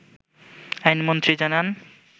আইনমন্ত্রী জানান